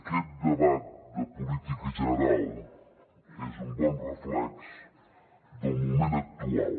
aquest debat de política general és un bon reflex del moment actual